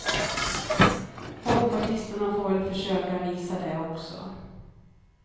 Folkpartisterna får väl försöka visa det också.